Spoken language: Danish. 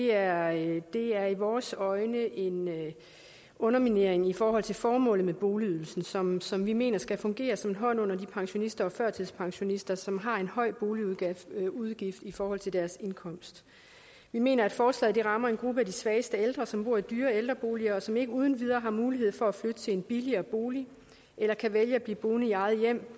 er i er i vores øjne en underminering i forhold til formålet med boligydelsen som som vi mener skal fungere som en hånd under de pensionister og førtidspensionister som har en høj boligudgift i forhold til deres indkomst vi mener at forslaget rammer en gruppe af de svageste ældre som bor i dyre ældreboliger og som ikke uden videre har mulighed for at flytte til en billigere bolig eller kan vælge at blive boende i eget hjem